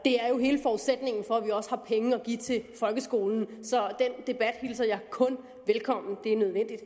det er jo hele forudsætningen for at vi også har penge at give til folkeskolen så den debat hilser jeg kun velkommen det er nødvendigt